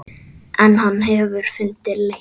En hann hefur fundið leið.